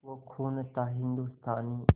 वो खून था हिंदुस्तानी